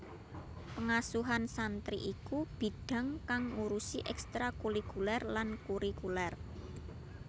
Pengasuhan santri iku bidhang kang ngurusi ekstrakurikuler lan kurikuler